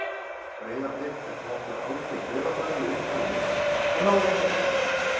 Breiðablik fékk nokkur algjör dauðafæri í upphafi leiks en náði ekki að nýta þau.